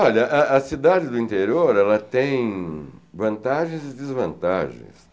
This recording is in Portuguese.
Olha, a a a cidade do interior tem vantagens e desvantagens.